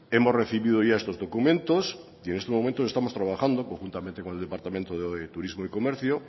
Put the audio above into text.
hemos recibido ya estos documentos y en este momento estamos trabajando conjuntamente con el departamento de turismo y comercio